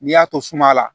N'i y'a to suma la